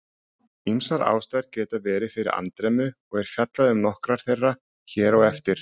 Ýmsar ástæður geta verið fyrir andremmu og er fjallað um nokkrar þeirra hér á eftir.